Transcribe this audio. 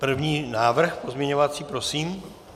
První návrh pozměňovací, prosím.